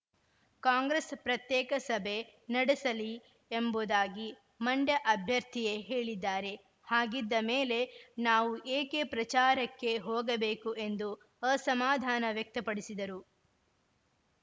ಕಾಂಗ್ರೆಸ್‌ ಪ್ರತ್ಯೇಕ ಸಭೆ ನಡೆಸಲಿ ಎಂಬುದಾಗಿ ಮಂಡ್ಯ ಅಭ್ಯರ್ಥಿಯೇ ಹೇಳಿದ್ದಾರೆ ಹಾಗಿದ್ದ ಮೇಲೆ ನಾವು ಏಕೆ ಪ್ರಚಾರಕ್ಕೆ ಹೋಗಬೇಕು ಎಂದು ಅಸಮಾಧಾನ ವ್ಯಕ್ತಪಡಿಸಿದರು